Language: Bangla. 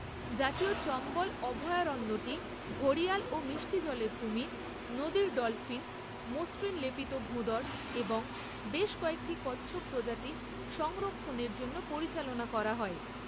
জাতীয় চম্বল অভয়ারণ্যটি ঘড়িয়াল ও মিষ্টি জলের কুমির, নদীর ডলফিন, মসৃণ লেপিত ভোঁদড় এবং বেশ কয়েকটি কচ্ছপ প্রজাতি সংরক্ষণের জন্য পরিচালনা করা হয়।